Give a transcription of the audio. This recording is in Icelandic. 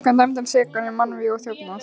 Fékk hann dæmdan sekan um mannvíg og þjófnað.